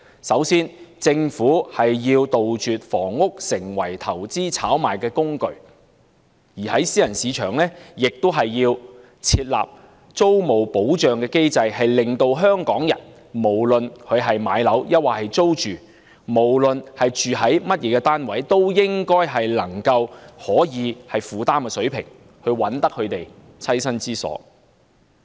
首先，政府要杜絕房屋成為投資炒賣的工具，並且為私人市場設立租務保障機制，讓香港人不論置業或租住，不論居於甚麼單位，均可按能夠負擔的水平覓得棲身之所。